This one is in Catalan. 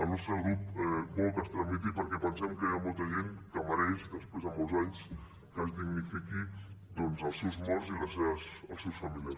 el nostre grup vol que es tramiti perquè pensem que hi ha molta gent que mereix després de molts anys que es dignifiquin doncs els seus morts i els seus familiars